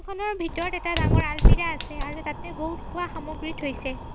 খনৰ ভিতৰত এটা ডাঙৰ আলমিৰা আছে আৰু তাতে বহুত খোৱা সামগ্ৰী থৈছে।